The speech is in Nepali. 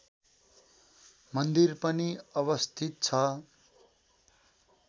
मन्दिर पनि अवस्थित छ